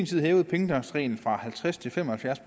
syv hævede pengetanksreglen fra halvtreds til fem og halvfjerds